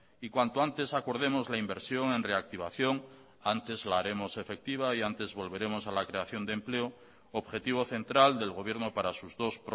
y cuanto antes acordemos la inversión en reactivación antes la haremos efectiva y antes volveremos a la creación de empleo objetivo central del gobierno para sus dos